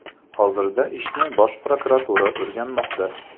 Hozirda ishni Bosh prokuratura o‘rganmoqda.